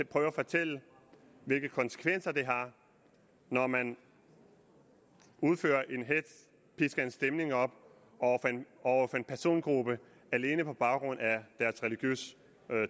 prøver at fortælle hvilke konsekvenser det har når man udfører en hetz pisker en stemning op over for en persongruppe alene på baggrund af deres religiøse